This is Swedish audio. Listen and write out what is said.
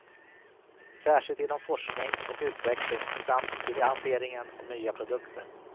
Särskilt inom forskning och utveckling samt i lanseringen av nya produkter.